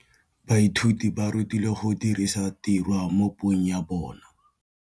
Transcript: Baithuti ba rutilwe go dirisa tirwa mo puong ya bone.